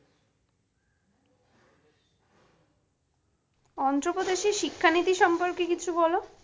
অন্ধ্রপ্রদেশে শিক্ষানীতি সম্পর্কে কিছু বলো।